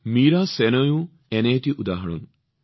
মীৰা শোনয়জীও এনেকুৱা এক উদাহৰণ